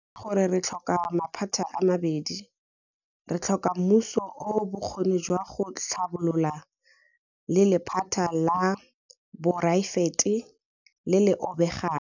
Nnete ke gore re tlhoka maphata a mabedi. Re tlhoka mmuso o o bokgoni jwa go tlhabolola le lephata la poraefete le le obegang.